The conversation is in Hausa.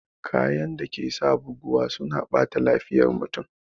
Kayan dake sa buguwa suna ɓata lafiyar mutum